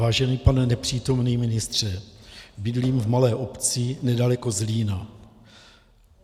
Vážený pane nepřítomný ministře, bydlím v malé obci nedaleko Zlína.